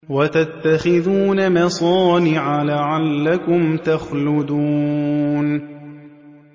وَتَتَّخِذُونَ مَصَانِعَ لَعَلَّكُمْ تَخْلُدُونَ